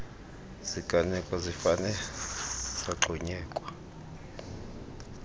ziganeko zifane zagxunyekwa